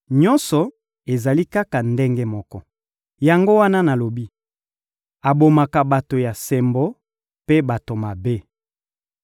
Nyonso ezali kaka ndenge moko! Yango wana nalobi: ‹Abomaka bato ya sembo mpe bato mabe.›